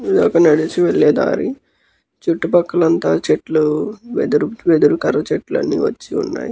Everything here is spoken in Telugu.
ఇదొక నడిచి వెళ్లే దారి. చుట్టూ పక్కల అంత చెట్టులు ఎదురు ఎదురు కర్ర చెట్టులు అన్ని వచ్చి ఉన్నాయ్.